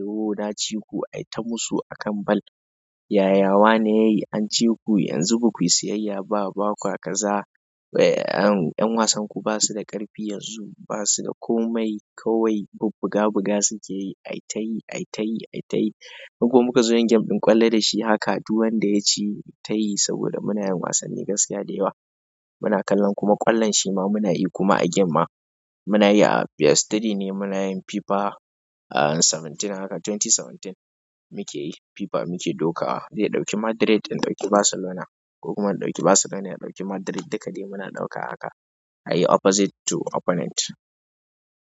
Madrid in ɗauki Barcelona. Yaya wane an ciku, yanzu bakuyi sayayya ba baƙwa kaza ƴan wasanku basu da ƙafi yanzu basu da komai, yanzu kawai bubbuga buga sukeyi aitayi aitayi aitayi inko mukazo yin game ɗin ƙwallo dashi haka, duk wanda yaci, yayitayi saboda munayin wasanni gaskiya da yawa muna kallon kuma ƙwallon shima, kuma munayi a game ma munayi a PS three ne, munayin FIFA, ah seventeen haka twenty seventeen mukeyi FIA muke dokawa, zai ɗauki Madrid in ɗauki Barcelona, ko kuma in ɗauki Barcelona ya ɗauki Madrid duka dai muna dokawa haka. Ayi opposite to opponent.